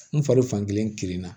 N fari fan kelen kirinna